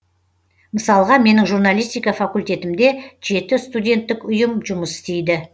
мысалға менің журналистика факультетімде жеті студенттік ұйым жұмыс істейді